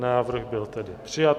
Návrh byl tedy přijat.